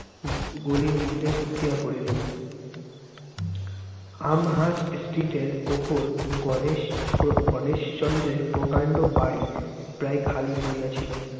গলির মধ্যে ঢুকিয়া পরিলেন। আমহার্স্ট street এর উপর, গণেশ~ গণেশচন্দ্রের প্রকাণ্ড বাড়ি প্রায় খালি পড়িয়া ছিল।